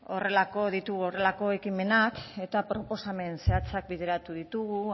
ditugu horrelako ekimenak eta proposamen zehatzak bideratu ditugu